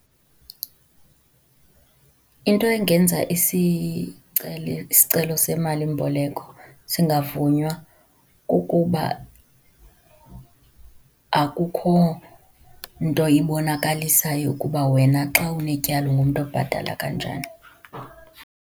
Into engenza isicelo semalimboleko singavunywa kukuba akukho nto ibonakalisayo ukuba wena xa unetyala ungumntu obhatala kanjani.